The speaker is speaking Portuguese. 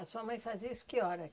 A sua mãe fazia isso que hora?